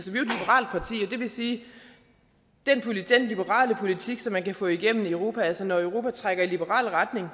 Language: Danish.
det vil sige at liberale politik som man kan få igennem i europa altså når europa trækker i liberal retning